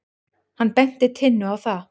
Hann benti Tinnu á það.